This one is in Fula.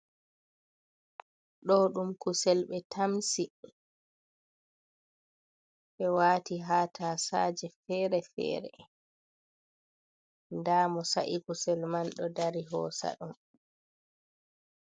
Ɗo ɗum kusel be tamsi be wati ha tasaje fere fere, nda mo sa’i kusel man ɗo dari hosa ɗum.